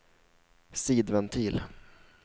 sidventil